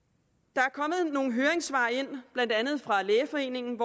der er kommet nogle høringssvar ind blandt andet fra lægeforeningen